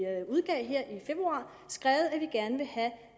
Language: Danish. februar skrevet at vi gerne vil have